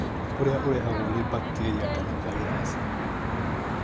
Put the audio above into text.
ũrĩa ũrehagwo nĩ bacteria kana virus